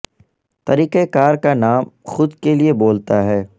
طریقہ کار کا نام خود کے لئے بولتا ہے